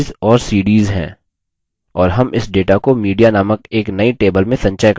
और हम इस data को media नामक एक नई table में संचय कर सकते हैं